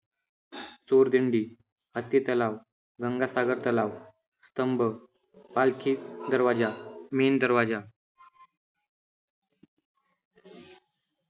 सूरदिंडी, हत्ती तलाव, गंगासागर तलाव, स्तंभ, पालखी दरवाजा, मेण दरवाजा.